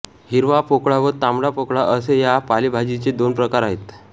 हिरवा पोकळा व तांबडा पोकळा असे या पालेभाजीचे दोन प्रकार आहेत